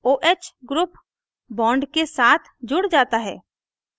oh group bond के साथ जुड़ जाता है